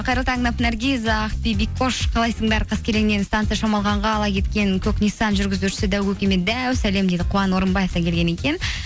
қайырлы таң наргиз ақбибикош қалайсыңдар қаскеленнен станция шамалғанға ала кеткен көк ниссан жүргізушісі дәу көкеме дәу сәлем дейді қуан орынбаевтан келген екен